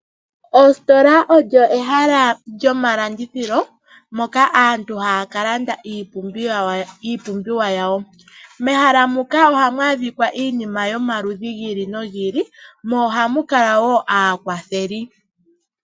Ositola olyo ehala lyomalandithilo moka aantu haya ka landa iipumbiwa yawo. Mehala muka ohamu adhikwa iinima yomaludhi yi ili nogi ili, mo ohamu kala wo aakwatheli.